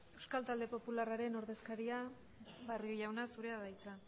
euskal talde popularraren ordezkaria barrio jauna zurea da hitza